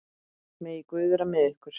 Megi Guð vera með ykkur.